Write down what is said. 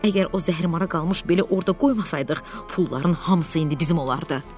Əgər o zəhrimara qalmış beli orda qoymasaydıq, pulların hamısı indi bizim olardı.